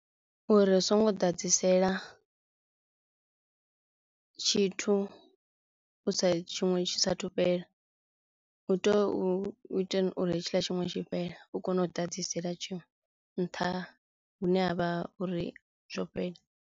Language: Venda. Uri ri si ngo ḓadzisela tshithu u sa tshiṅwe tshi sa thu fhela hu tea u itela uri hetshiḽa tshiṅwe tshi fhele u kono u ḓadzisela tshiṅwe nṱha hu ne ha vha uri zwo fhela.